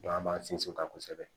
an b'an sinsin o kan kosɛbɛ